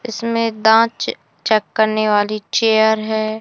इसमें दांत च चेक करने वाली चेयर है।